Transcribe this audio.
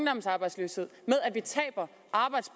synes